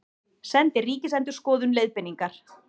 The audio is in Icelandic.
Sendi Ríkisendurskoðun leiðbeiningar